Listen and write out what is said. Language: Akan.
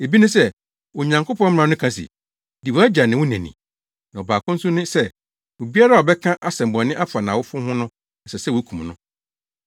Ebi ne sɛ, Onyankopɔn mmara no ka se, ‘Di wʼagya ne wo na ni,’ na baako nso ne sɛ, ‘Obiara a ɔbɛka asɛmmɔne afa nʼawofo ho no, ɛsɛ sɛ wokum no,’